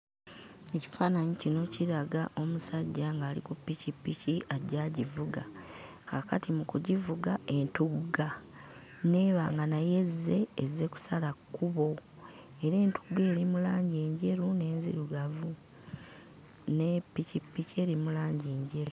Ekifaananyi kino kiraga omusajja ng'ali ku pikipiki ajja agivuga. Kaakati mu kugivuka, entugga n'eba nga nayo ezze, ezze kusala kkubo. Era entugga eri mu langi njeru n'enzirugavu ne pikipiki eri mu langi njeru.